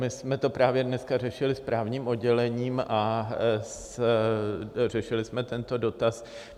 My jsme to právě dneska řešili s právním oddělením a řešili jsme tento dotaz.